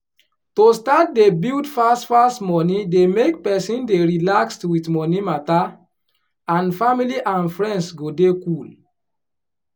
to start dey build fast fast money dey make person dey relaxed with money matter and family and friends go dey cool